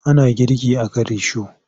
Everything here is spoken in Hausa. Ana girki a kan risho.